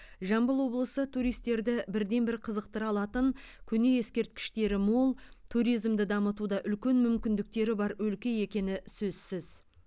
жамбыл облысы туристерді бірден бір қызықтыра алатын көне ескерткіштері мол туризмді дамытуда үлкен мүмкіндіктері бар өлке екені сөзсіз